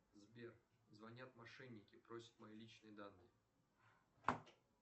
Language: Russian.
сбер звонят мошенники просят мои личные данные